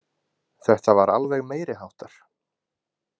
Þetta var alveg meiri háttar.